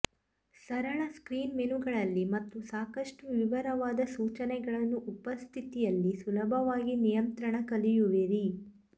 ಸರಳ ಸ್ಕ್ರೀನ್ ಮೆನುಗಳಲ್ಲಿ ಮತ್ತು ಸಾಕಷ್ಟು ವಿವರವಾದ ಸೂಚನೆಗಳನ್ನು ಉಪಸ್ಥಿತಿಯಲ್ಲಿ ಸುಲಭವಾಗಿ ನಿಯಂತ್ರಣ ಕಲಿಯುವಿರಿ